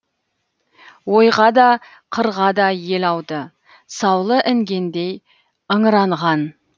ойға да қырға да ел ауды саулы інгендей ыңыранған